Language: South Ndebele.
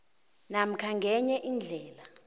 namkha ngenye indlela